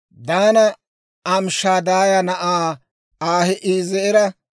Daanappe Amishadaaya na'aa Ahi'eezera,